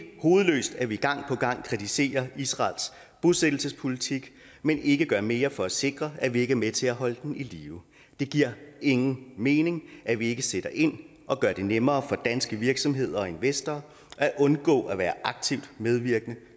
hovedløst at vi gang på gang kritiserer israels bosættelsespolitik men ikke gør mere for at sikre at vi ikke er med til at holde den i live det giver ingen mening at vi ikke sætter ind og gør det nemmere for danske virksomheder og investorer at undgå at være aktivt medvirkende